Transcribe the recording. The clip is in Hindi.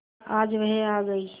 आज वह आ गई